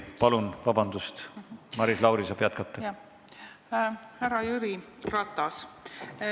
Härra Jüri Ratas!